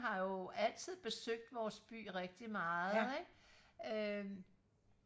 har jo altid besøgt vores by rigtig meget ikke øhm